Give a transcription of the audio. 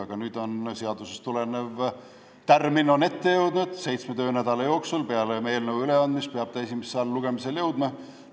Aga nüüd on seadusest tulenev tärmin kätte jõudnud, seitsme töönädala jooksul peale eelnõu üleandmist peab ta esimesele lugemisele jõudma.